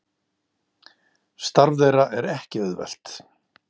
Starf þeirra er ekki auðvelt